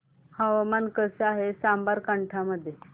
हवामान कसे आहे साबरकांठा मध्ये